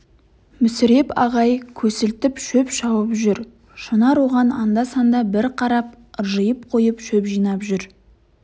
мүсіреп ағай көсілтіп шөп шауып жүр шынар оған анда-санда бір қарап ыржиып қойып шөп жинап жүр